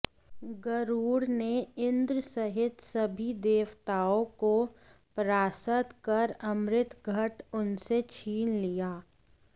गरुड़ ने इन्द्र सहित सभी देवताओं को परास्त कर अमृत घट उनसे छीन लिया